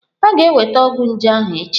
Ọ ga-enweta ọgwụ nje ahụ echi?